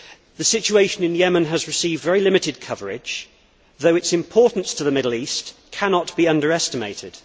The situation in Yemen has received very limited coverage, though its importance to the Middle East cannot be underestimated.